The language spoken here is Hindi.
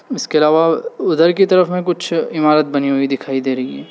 इसके अलावा उधर की तरफ में कुछ इमारत बनी हुई दिखाई दे रही हैं।